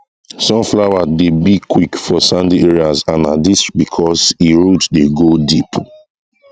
sunflower dey big quick for sandy areas and na dis because e root dey go deep